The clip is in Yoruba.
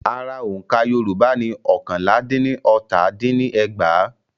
Ara òǹkà Yorùbá ni ọ́kànlá dín ní ọta din ní ẹgbàá.